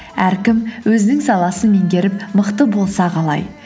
әркім өзінің саласын менгеріп мықты болса қалай